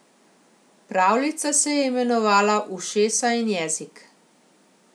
Pravljica se je imenovala Ušesa in jezik.